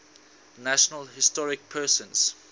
national historic persons